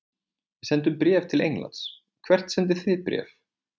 Við sendum bréf til Englands. Hvert sendið þið bréf?